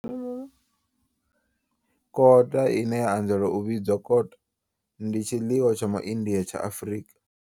Kota, ine ya anzela u vhidzwa kota, ndi tshiḽiwa tsha MaIndia tsha Afrika.